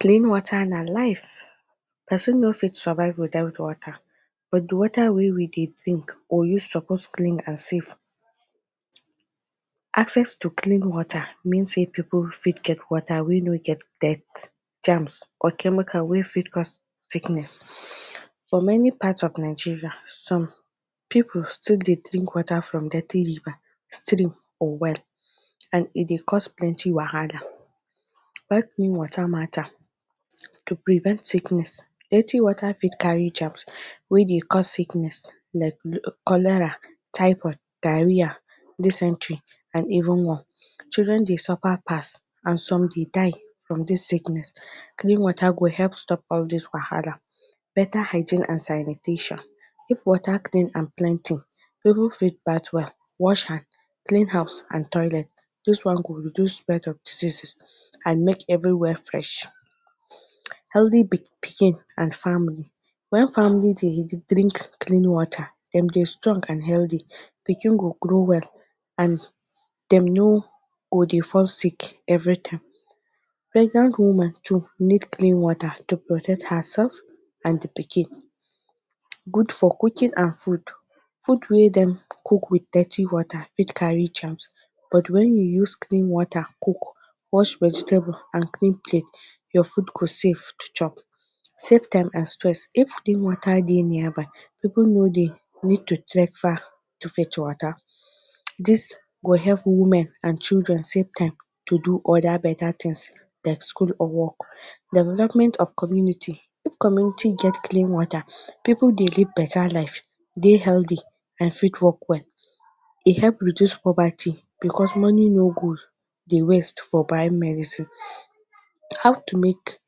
Clean water na life. Person no fit survive without water. But the water wey we dey drink or use suppose clean ourself. Access to clean water mean sey pipu fit get water wey no get dirt, germs or chemical wey fit cause sickness. For many part of Nigeria, some pipu still dey drink water from dirty river, stream or well, and e dey cause plenty wahala. Why clean water matter? To prevent sickness: Dirty water fit carry germs wey dey cause sickness like cholera, typhoid, diarrhea, dysentery, and even more. Children dey suffer pass and some dey die from this sickness. Clean water go help stop all these wahala. Better hygiene and sanitation: If water clean and plenty, pipu fit bath well, wash hand, clean house and toilet. This one go reduce spread of diseases and make everywhere fresh. Healthy pikin and family: When family dey drink clean water, dem dey strong and healthy. Pikin go grow well and dem no go dey fall sick every time. Pregnant woman too need clean water to protect herself and the pikin. Good for cooking and food: Food wey dem cook with dirty water fit carry germs but when you use clean water cook, wash vegetable and clean plate, your food go safe to chop. Save time and stress: If clean water dey nearby, pipu no dey need to trek far to fetch water. This go help women and children save time to do other better things like school or work. of community: If community get clean water, pipu dey live better life, dey healthy and fit work well, dey help reduce poverty, because money no go dey waist for buying medicine. How to make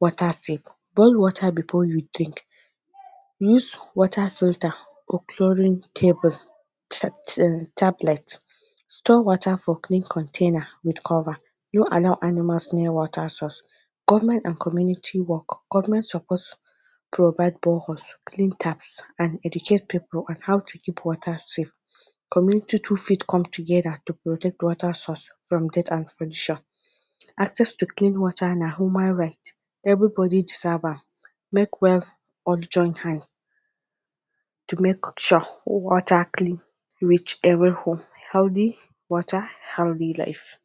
water safe: Boil water before you drink. Use water filter for curing tablet. Store water for clean container with cover. No allow animals near water source. Government and community work: Government suppose provide boreholes, clean taps and educate pipu on how to keep water safe. Community too fit come together to protect water source from dirt and. Access to clean water na human right. Everybody deserve am. Make us join hand to make sure water clean, reach every home. Healthy water, healthy life.